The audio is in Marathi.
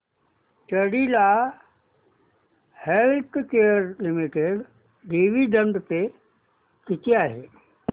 Cadila healthcare limited dividend pay किती आहे